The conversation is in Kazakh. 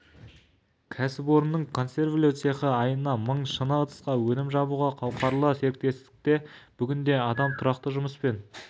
кәсіпорынның консервілеу цехы айына мың шыны ыдысқа өнім жабуға қауқарлы серіктестікте бүгінде адам тұрақты жұмыспен